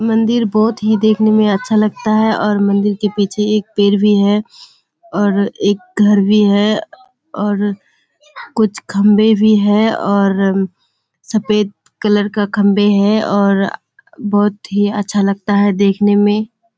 मंदिर बहुत ही देखने में अच्छा लगता है और मंदिर के पीछे एक पेड़ भी है और एक घर भी है और कुछ खम्बे भी हैं और सफ़ेद कलर का खम्बे है और बहुत ही अच्छा लगता है देखने में--